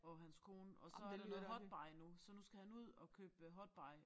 Og hans kone og så der noget hot buy nu så nu skal han ud og købe hot buy